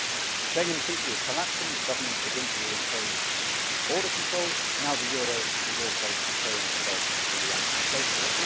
The Schengen Treaty is collapsing as governments begin to reimpose border controls, and now the euro is also showing itself to be unsustainable.